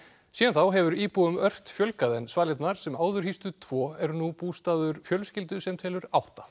síðan þá hefur íbúum ört fjölgað en svalirnar sem áður hýstu tvo eru nú bústaður fjölskyldu sem telur átta